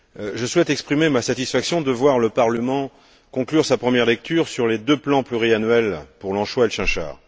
Je souhaite exprimer ma satisfaction de voir le Parlement conclure sa première lecture sur les deux plans pluriannuels pour l'anchois et le chinchard.